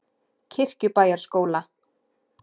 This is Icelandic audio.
Kirkjubæjarskóla